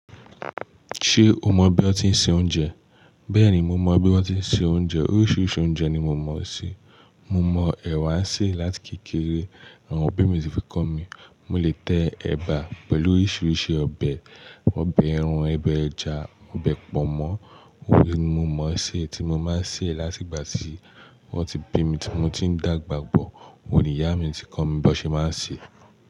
Ṣé o mọ bí wọ́n tí ń se oúnjẹ? Bẹ́ẹ̀ni, mo mọ bí wọ́n ti ń se oúnjẹ. Oríṣiríṣi oúnjẹ ni mo mọ̀ se. Mo mọ ẹ̀wà se láti kékeré. Àwọn òbí mi ti fi kọ́ mi. Mo lè tẹ ẹ̀bà pẹ̀lú oríṣiríṣi ọbẹ̀. Obẹ ẹran obẹ ẹja, ọbẹ̀ pọnmọ́. Òun ni mo mọ̀ ọ́n ṣe tí mo máa ń sè láti ìgbà tí wọ́n ti bí mi tí mo ti ń dàgbà bọ̀. Ó ni ìyá mi ti kọ́ mi bí ó ṣe máa ń sè.